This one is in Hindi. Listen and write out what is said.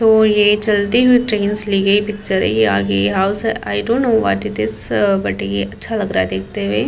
'' तो ये चलती हुई ट्रैन से ली गई पिक्चर है। आगे हाउस है। I don't know what is this booth ये अच्छा लग रहा है देखते हुए। ''